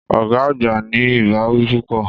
Ọ̀gá àgbà ní ìbáwí púpọ̀.